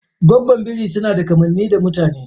Goggon biri sunada kamanni da mutane.